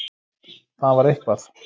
Það var eitthvað.